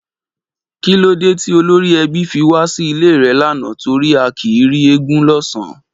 Kí lódé tí olórí ẹbí fi wá sí ilé rẹ lánàá torí a kì í rí eégún lọ́sàn-án?